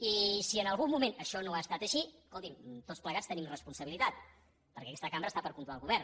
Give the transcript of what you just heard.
i si en algun moment això no ha estat així escolti’m tots plegats hi tenim responsabilitat perquè aquesta cambra està per controlar el govern